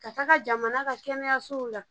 Ka taga jamana ka kɛnɛyasow la